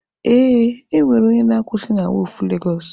Ee, ọ nwere onye na-akwusị na wọọfụ Legosụ.